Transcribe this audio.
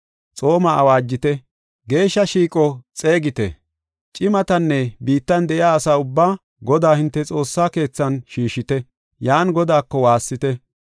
Xooma awaajite; geeshsha shiiqo xeegite. Cimatanne biittan de7iya asa ubbaa Godaa hinte Xoossaa keethan shiishite; yan Godaako waassite.